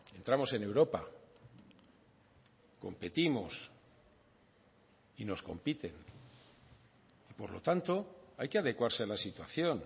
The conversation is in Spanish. entramos en europa competimos y nos compiten por lo tanto hay que adecuarse a la situación